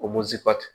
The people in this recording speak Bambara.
O